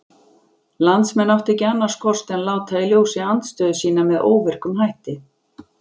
Landsmenn áttu ekki annars kost en láta í ljósi andstöðu sína með óvirkum hætti.